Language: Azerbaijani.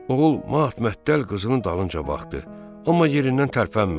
Oğul mat-məttəl qızılın dalınca baxdı, amma yerindən tərpənmədi.